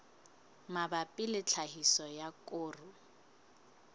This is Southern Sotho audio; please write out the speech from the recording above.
mabapi le tlhahiso ya koro